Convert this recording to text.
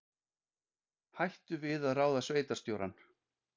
Hættu við að ráða sveitarstjórann